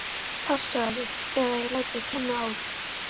Passaðu þig eða ég læt þig kenna á því.